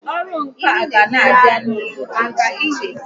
Ọrụ ǹkà kà n'abịa n'ụdị dị iche iche